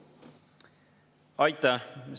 Aitäh!